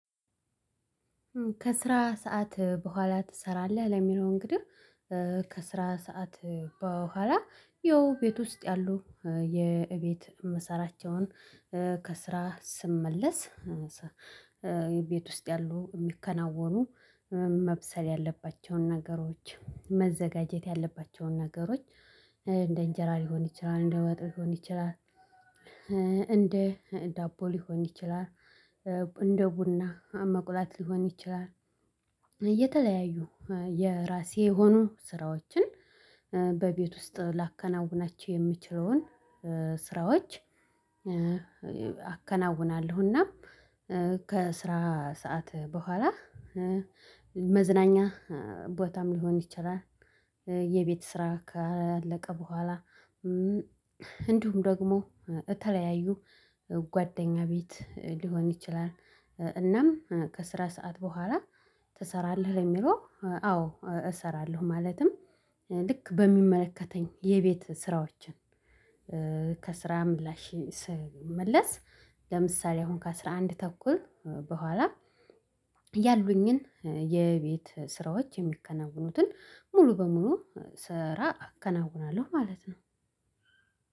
ከስራ ሰዓት በኋላ ትሰራለህ? ለሚለው እንግዲህ ከስራ ሰዓት በኋላ ይኸው ቤት ውስጥ ያሉ የቤት የምሰራቸውን ከስራ ስመለስ ቤት ውስጥ ያሉ የሚከናወኑ መብሰል ያለባቸውን ነገሮች መዘጋጀት ያለባቸውን ነገሮች እንደ እንጀራ ሊሆን ይችላል፣ እንደ ወጥ ሊሆን ይችላል እንደ ዳቦ ሊሆን ይችላል፣ እንደ ቡና መቁላት ሊሆን ይችላል፣ እየተለያዩ የራሴ የሆኑ ስራዎችን በቤት ውስጥ ላከናውናቸው የምችለውን ስራዎች አከናውናለሁና ከስራ ሰዓት በኋላ መዝናኛ ቦታም ሊሆን ይችላል፣ የቤት ስራ ካለቀ በኋላ እንዲሁም ደግሞ የተለያዩ ጓደኛ ቤት ሊሆን ይችላል፣ እናም ከስራ ሰዓት በኋላ ትሰራለህ የሚለው አዎ እሰራለሁ ማለትም ልክ በሚመለከተኝ የቤት ስራዎች ከስራ ምላሽ ስመለስ ለምሳሌ አሁን ከአስራ አንድ ተኩል በኋላ ያሉኝን የቤት ስራዎች የሚከናውኑትን ሙሉ በሙሉ ስራ አከናውናለሁ ማለት ነው።